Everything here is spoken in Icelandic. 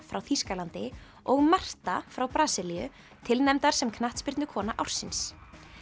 frá Þýskalandi og Marta frá Brasilíu tilnefndar sem knattspyrnukona ársins